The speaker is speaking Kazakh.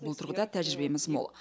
бұл тұрғыда тәжірибеміз мол